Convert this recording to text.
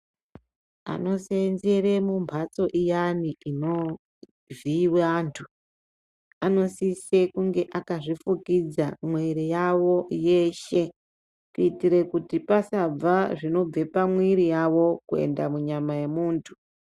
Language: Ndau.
Vanoseenzera mumhatso iyani inovhiyiwa vantu vanosisa kunge vakazvifukidza muviri yavo yese kuitira kuti pasabva zvinobva pamuviri mwawo kuenda mubyama yemuntu.